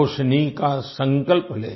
रोशनी का संकल्प ले